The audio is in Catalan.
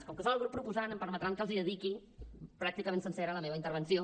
com que són el grup proposant em permetran que els dediqui pràcticament sencera la meva intervenció